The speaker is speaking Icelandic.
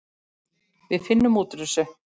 Við finnum út úr þessu.